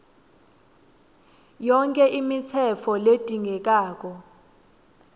yonkhe imitsetfo ledzingekako